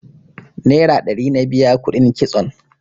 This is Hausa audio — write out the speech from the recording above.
Nera ɗari na biya kuɗin kitson